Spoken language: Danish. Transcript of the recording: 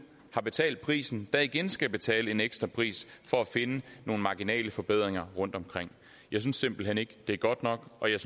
har betalt prisen der igen skal betale en ekstra pris for at finde nogle marginale forbedringer rundtomkring jeg synes simpelt hen ikke det er godt nok og jeg